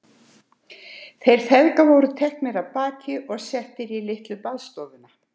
Þeir feðgar voru teknir af baki og settir í litlu baðstofuna.